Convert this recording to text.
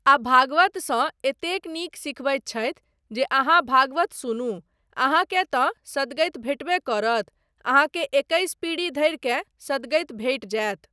आ भागवतसँ एतेक नीक सिखबैत छथि जे अहाँ भागवत सुनू अहाँकेँ तँ सदगति भेटबे करत अहाँकेँ एकैस पीढ़ी धरिकेँ सदगति भेटि जायत।